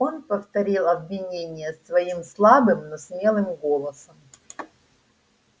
он повторил обвинения свои слабым но смелым голосом